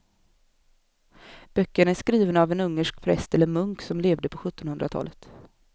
Böckerna är skrivna av en ungersk präst eller munk som levde på sjuttonhundratalet.